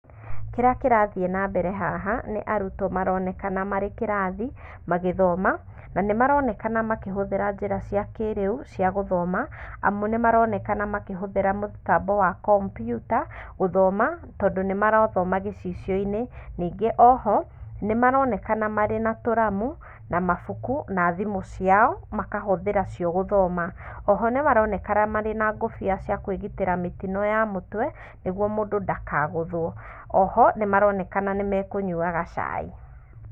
Kĩrĩa kĩrathiĩ na mbere haha, nĩ arutwo maronekana marĩ kĩrathi, magĩthoma, na nĩ maronekana makĩhũthĩra njĩra cia kĩĩrĩu, cia gũthoma, amu nĩ nĩ maronekana makĩhũthĩra mũtambo wa kombuta, gũthoma, tondũ nĩmarathoma gĩcicio-inĩ. Ningĩ oho, nĩ maronekana marĩ na tũramu, na mabuku, na thimũ ciao, makahũthĩra cio gũthoma. Oho nĩ maronekana marĩ na ngũbia cia kwĩgitĩra mĩtino ya mũtwe, nĩguo mũndũ ndakagũthwo. Oho nĩ maronekana nĩmekũnyuaga cai.